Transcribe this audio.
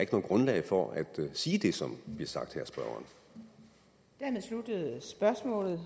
grundlag for at sige det som bliver sagt her